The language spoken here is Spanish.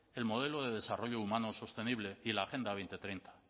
el modelo de desarrollo humano sostenible y la agenda dos mil treinta